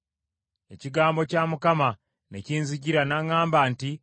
Ekigambo kya Mukama ne kinzijira, n’aŋŋamba nti,